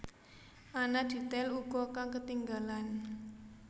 Ana detail uga kang ketinggalan